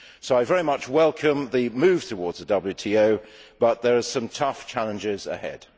So I very much welcome the move towards the WTO, but there are some tough challenges ahead.